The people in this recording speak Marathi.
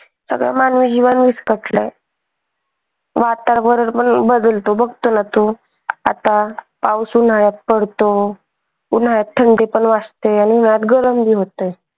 सगळं मानवी जीवन विस्कटल आहे. आता पाउस उन्हाळ्यात पडतो. उन्हाळ्यात थंडी पण वाजते आणि गरम होते.